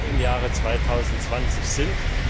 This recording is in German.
Euro im Jahre 2020 sind?